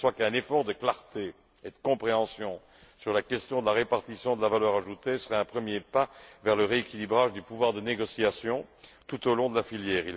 Il va de soi qu'un effort de clarté et de compréhension sur la question de la répartition de la valeur ajoutée serait un premier pas vers le rééquilibrage du pouvoir de négociation tout au long de la filière.